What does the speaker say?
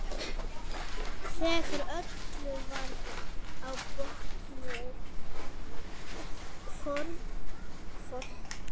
Þegar öllu var á botninn hvolft hafði enginn hugsað um mig.